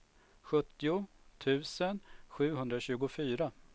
sjuttio tusen sjuhundratjugofyra